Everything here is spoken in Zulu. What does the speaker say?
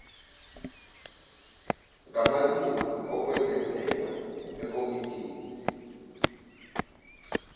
ngamalunga okwengezela ekomidini